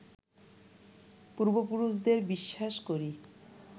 পূর্ব পুরুষদের বিশ্বাস করি